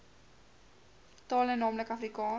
tale naamlik afrikaans